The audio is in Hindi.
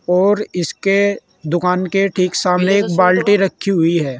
और इसके दुकान के ठीक सामने एक बाल्टी रखी हुई है।